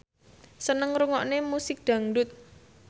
seneng ngrungokne musik dangdut